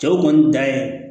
Cɛw kɔni dan ye